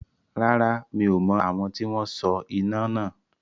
Rárá, mi ò mọ̀ àwọn tí wọn so iná náà.